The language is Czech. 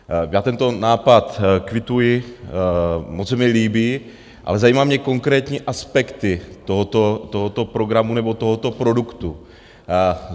Já tento nápad kvituji, moc se mi líbí, ale zajímají mě konkrétní aspekty tohoto programu nebo tohoto produktu.